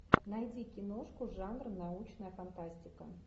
найди киношку жанр научная фантастика